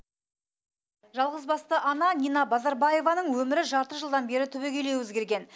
жалғызбасты ана нина базарбаеваның өмірі жарты жылдан бері түбегейлі өзгерген